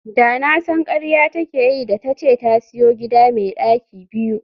Da na san karya take yi da tace ta siyo gida me daki biyu